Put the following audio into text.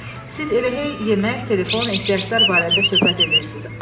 Siz elə hey yemək, telefon, ehtiyaclar barədə söhbət eləyirsiz.